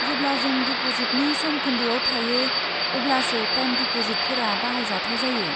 जेब्ला जों डिप'जिटनि समखोन्दोआव थायो अब्लासो टाइम डिप'जिटफोरा बाहायजाथाव जायो।